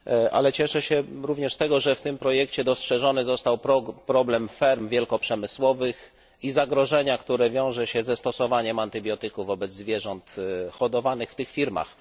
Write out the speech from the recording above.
Ale cieszę się również z tego, że w tym projekcie dostrzeżony został problem ferm wielkoprzemysłowych i zagrożenia, które wiąże się ze stosowaniem antybiotyku wobec zwierząt hodowanych w tych fermach.